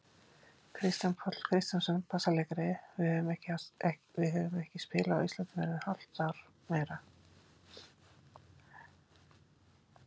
Kristján Páll Kristjánsson, bassaleikari: Við höfum ekki spilað á Íslandi í hvað hálft ár, meira?